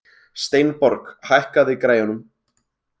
Steinborg, hækkaðu í græjunum.